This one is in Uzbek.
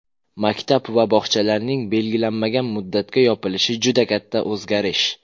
Maktab va bog‘chalarning belgilanmagan muddatga yopilishi juda katta o‘zgarish.